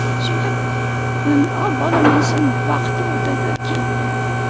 сөйтіп енді ал балам енді сен бақытты бол деді кетті